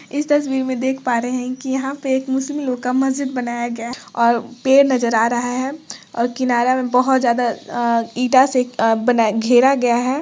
इस तस्वीर में देख पा रहे है कि यहाँ पे एक मुस्लिम लोग का मस्जिद बनाया गया और पेड़ नजर आ रहा है और किनारा में बहुत ज्यादा अ ईटा से बनाया घेरा गया है।